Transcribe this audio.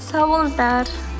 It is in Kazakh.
сау болыңыздар